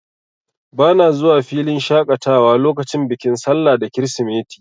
Bana zuwa filin shaƙatawa lokacin bikin sallah da kirisimeti.